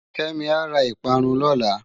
Kemi á rá ipárùn lòlá